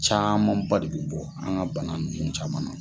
Camanba de bi bɔ an ga bana nunnu caman na.